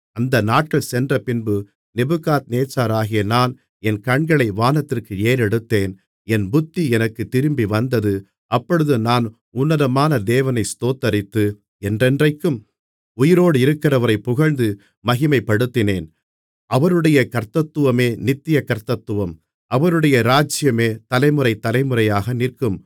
அந்த நாட்கள் சென்றபின்பு நேபுகாத்நேச்சாராகிய நான் என் கண்களை வானத்திற்கு ஏறெடுத்தேன் என் புத்தி எனக்குத் திரும்பிவந்தது அப்பொழுது நான் உன்னதமான தேவனை ஸ்தோத்திரித்து என்றென்றைக்கும் உயிரோடிருக்கிறவரைப் புகழ்ந்து மகிமைப்படுத்தினேன் அவருடைய கர்த்தத்துவமே நித்திய கர்த்தத்துவம் அவருடைய ராஜ்ஜியமே தலைமுறை தலைமுறையாக நிற்கும்